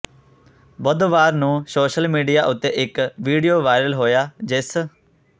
ਬੁੱਧਵਾਰ ਨੂੰ social media ਉੱਤੇ ਇੱਕ ਵੀਡੀਓ ਵਾਇਰਲ ਹੋਇਆ ਜਿਸ